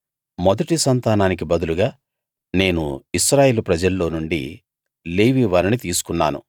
మొదటి సంతానానికి బదులుగా నేను ఇశ్రాయేలు ప్రజల్లో నుండి లేవీ వారిని తీసుకున్నాను